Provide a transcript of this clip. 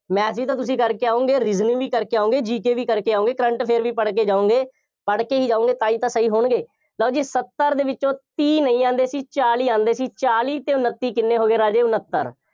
math ਵੀ ਤਾਂ ਤੁਸੀਂ ਕਰ ਆਉਂਗੇ, reasoning ਵੀ ਕਰਕੇ ਆਉਂਗੇ, GK ਵੀ ਕਰਕੇ ਆਉਂਗੇ, current affair ਵੀ ਪੜ੍ਹ ਕੇ ਜਾਉਂਗੇ, ਪੜ੍ਹਕੇ ਹੀ ਜਾਉਂਗੇ, ਤਾਂ ਹੀ ਤਾਂ ਸਹੀ ਹੋਣਗੇ, ਲਓ ਜੀ ਸੱਤਰ ਦੇ ਵਿੱਚੋਂ ਤੀਹ ਨਹੀਂ ਆਉਂਦੇ ਸੀ, ਚਾਲੀ ਆਉਂਦੇ ਸੀ, ਚਾਲੀ ਅਤੇ ਉਨੱਤੀ ਕਿੰਨੇ ਹੋ ਗਏ ਰਾਜੇ ਉਨੱਤਰ।